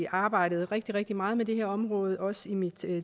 arbejdet rigtig rigtig meget med det her område også i mit